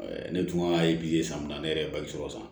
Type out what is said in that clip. Ne dun ka sanni na ne yɛrɛ ye balisɔrɔ san